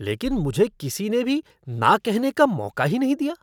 लेकिन मुझे किसीने भी न कहने का मौका ही नहीं दिया।